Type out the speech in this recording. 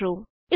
LTD